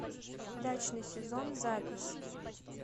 дачный сезон запись